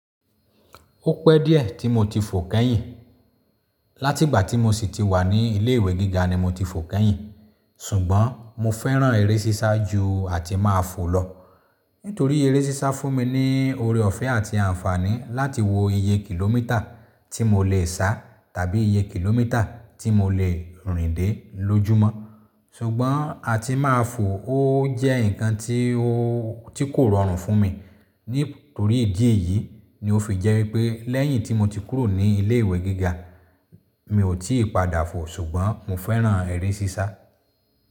Ó pẹ́ díẹ̀ tí mo ti fò kẹ́yìn. Láti ìgbà tí mo sì ti wà ní ilé ìwé gíga ni mo ti fò kẹ́yìn. Sùgbọ́n mo fẹ́ràn eré sísá ju àtí máàfò lọ. Nítorí eré sísá fún mi ní ore ọ̀fẹ́ àti àǹfààní láti wo iye kìlómítà tí mo lè sá tàbí iye kìlómítà tí mo lè rìn dé lójúmọ́. Sùgbọ́n àtí máa fò ó jẹ́ nǹkan tí kò rọrùn fún mi. Nítorí ìdí èyí ni ó fi jẹ́ wípé lẹ́yìn tí mo ti kúrò ní ilé ìwé gíga mi ò tíì padà fò. Ṣùgbọ́n mo fẹ́ràn eré sísá.